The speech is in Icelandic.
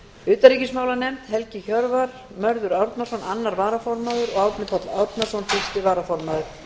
utanríkismálanefnd helgi hjörvar mörður árnason annar varaformaður og árni páll árnason fyrsti varaformaður